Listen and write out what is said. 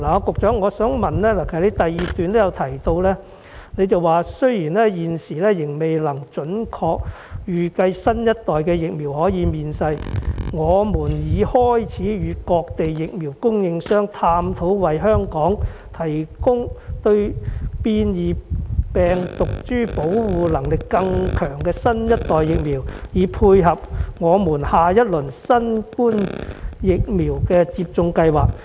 局長在主體答覆第二部分提到"雖然現時仍未能準確預計新一代疫苗何時面世，我們已開始與各地疫苗供應商探討為香港提供對變異病毒株保護力更強的新一代疫苗，以配合我們下一輪新冠疫苗的接種計劃。